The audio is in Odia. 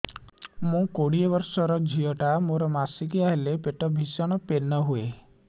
ମୁ କୋଡ଼ିଏ ବର୍ଷର ଝିଅ ଟା ମୋର ମାସିକିଆ ହେଲେ ପେଟ ଭୀଷଣ ପେନ ହୁଏ